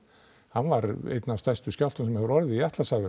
hann var einn af stærstu skjálftum sem hefur orðið í